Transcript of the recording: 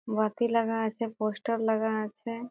বাতি লাগা আছে পোস্টার লাগা আছে।